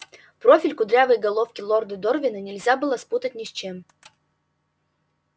профиль кудрявой головки лорда дорвина нельзя было спутать ни с чем